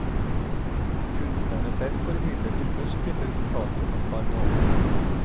Kunstnerne selv får imidlertid først vite resultatet om et par måneder.